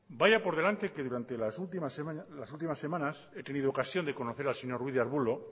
vaya por delante que durante las últimas semanas he tenido ocasión de conocer al señor ruiz de arbulo